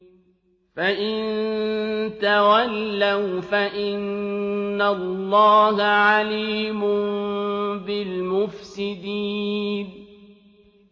فَإِن تَوَلَّوْا فَإِنَّ اللَّهَ عَلِيمٌ بِالْمُفْسِدِينَ